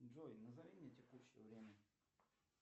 джой назови мне текущее время